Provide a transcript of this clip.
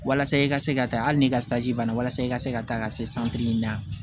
Walasa i ka se ka taa hali ni ka banna walasa i ka se ka taa ka se min na